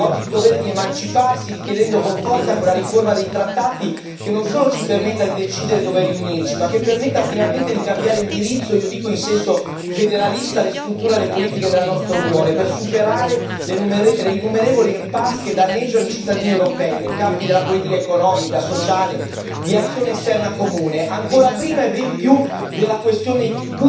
Oggi ha il dovere di emanciparsi, richiedendo con forza una riforma dei trattati che non solo ci permetta di decidere dove riunirci, ma che permetta finalmente di cambiare indirizzo io dico in senso federalista alle strutture e alle politiche della nostra Unione per superare le innumerevoli impasse che danneggiano i cittadini europei nei campi della politica economica, sociale, di azione esterna comune, ancora prima e ben più della questione pur importantissima della nostra sede comune.